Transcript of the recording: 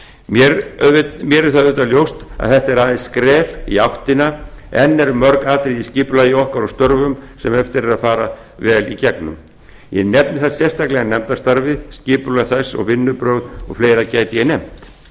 mér er auðvitað ljóst að þetta er aðeins skref í áttina enn er mörg atriði í skipulagi okkar og störfum sem eftir er að fara vel í gegnum ég nefni þar sérstaklega nefndastarfið skipulag þess og vinnubrögð og fleira gæti ég nefnt